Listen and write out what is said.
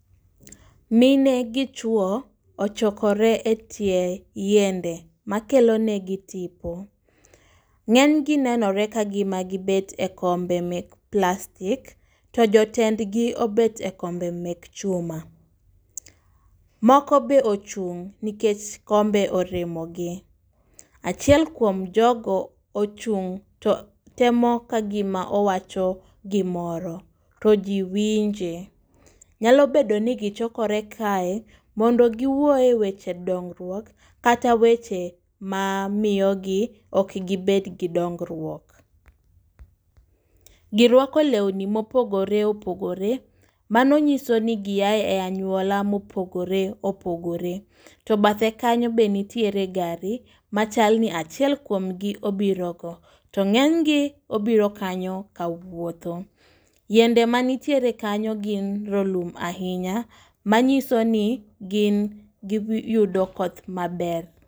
Mine gi chwo ochokore e tie yiende ma kelonegi tipo. Ng'eny gi nenore ka gima gibet e kombe mek plastik, to jotendgi obet e kombe mek chuma. Moko be ochung' nikech kombe oremo gi, achiel kuom jogo ochung' to temo ka gima owacho gimoro to ji winje. Nyalo bedo ni gichokore kae mondo giwuoye weche dongruok kata weche ma miyo gi ok gibed gi dongruok. Girwako lewni mopogore opogore, mano nyiso ni gia e anyuola mopogore opogore. To bathe kanyo be nitiere gari ma chal ni achiel kuom gi obiro go. To ng'eny gi obiro kanyo ka wuotho. Yiende manitiere kanyo gin rolum ahinya, manyiso ni gin giyudo koth maber.